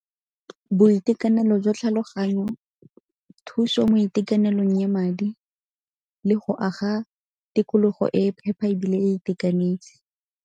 Boitekanelo jwa tlhaloganyo, thuso mo itekanelong ya madi le go aga tikologo e e phepa ebile e itekanetse.